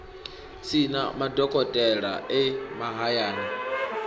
sina dokotela e g mahayani